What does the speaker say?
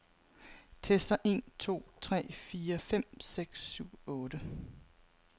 Tester en to tre fire fem seks syv otte.